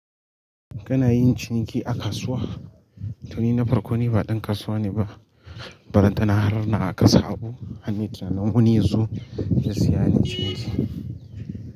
Kana yin ciniki a kasuwa? To ni na parko ni ba ɗan kasuwa ne ba, balantana har na a ƙasa abu. Har nayi tunanin wani ya zo ya siya nayii ciniki.